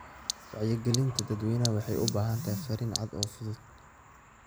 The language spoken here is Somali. Wacyigelinta dadweynaha waxay u baahan tahay fariin cad oo fudud.